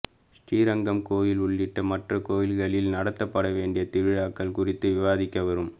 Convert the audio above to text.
ஸ்ரீரங்கம் கோயில் உள்ளிட்ட மற்ற கோயில்களில் நடத்தப்பட வேண்டிய திருவிழாக்கள் குறித்து விவாதிக்க வரும்